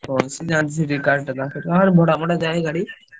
ହାଁ ସିଏ ଭଡା ଫଡା ଯାଏ ଗାଡି।